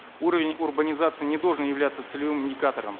уровень урбанизации не должен являться целевым индикатором